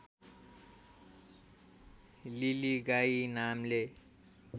लिलीगाई नामले